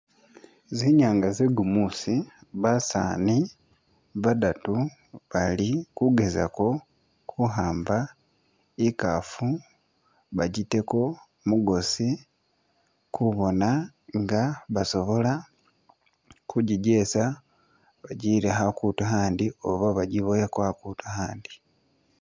Zinyanga ze gumuusi basaani badatu bali kugezako kuhamba ikaafu bajiteko mugoasi kubona nga basobola kujijesa bajiyile akutu ahandi oba bajiboyeko akutu ahandi.